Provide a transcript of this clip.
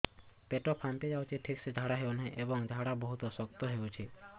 ପେଟ ଫାମ୍ପି ଯାଉଛି ଠିକ ସେ ଝାଡା ହେଉନାହିଁ ଏବଂ ଝାଡା ବହୁତ ଶକ୍ତ ହେଉଛି